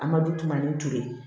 An ma du tumu na ni to ye